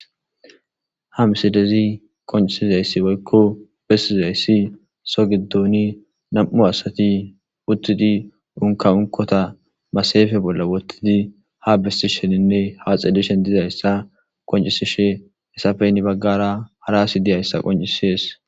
Ha misidezi qoncisizayssi boykko bessizayssi so giddoni nam7u asati uttidi unka unkota masayefe bolla wottidi ha bestisheninne haxedishen dizayssa qoncisishe hesafeyni baggara hara asi diyayssa qoncisees